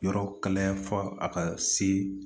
Yɔrɔ kalaya fɔ a ka se